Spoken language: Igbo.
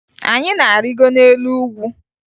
Anyị na-arịgo n'elu ugwu